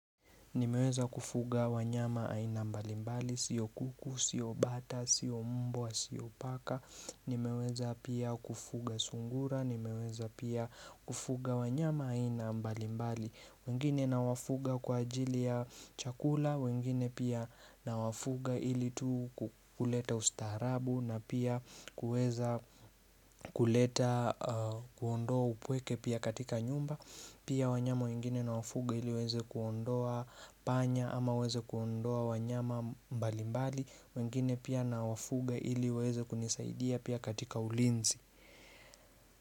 Nimeweza kufuga wanyama aina mbalimbali, sio kuku, sio bata, sio mbwa, sio paka Nimeweza pia kufuga sungura, nimeweza pia kufuga wanyama aina mbalimbali wengine nawafuga kwa ajili ya chakula, wengine pia nawafuga ili tu kuleta ustaarabu na pia kuweza kuleta kuondoa upweke pia katika nyumba Pia wanyama wengine na wafuga ili waweze kuondoa panya ama waweze kuondoa wanyama mbali mbali wengine pia na wafuga ili iweze kunisaidia pia katika ulinzi.